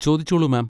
ചോദിച്ചോളൂ മാം.